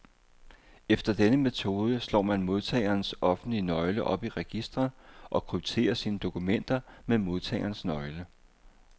Efter denne metode slår man modtagerens offentlige nøgle op i registret, og krypterer sine dokumenter med modtagerens nøgle.